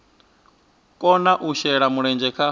kona u shela mulenzhe kha